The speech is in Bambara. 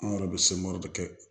An yɛrɛ bɛ de kɛ